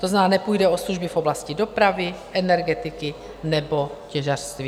To znamená, nepůjde o služby v oblasti dopravy, energetiky nebo těžařství.